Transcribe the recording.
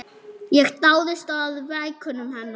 Ég dáðist að verkum hennar.